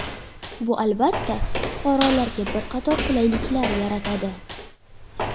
Bu albatta, fuqarolarga bir qator qulayliklar yaratadi.